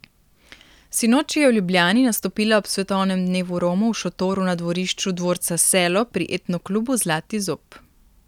Sinoči je v Ljubljani nastopila ob svetovnem dnevu Romov v šotoru na dvorišču dvorca Selo pri etno klubu Zlati zob.